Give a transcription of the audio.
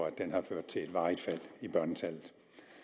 at den har ført til et varigt fald i børnetallet